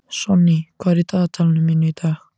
Sonný, hvað er á dagatalinu mínu í dag?